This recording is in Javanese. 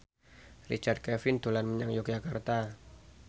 Richard Kevin dolan menyang Yogyakarta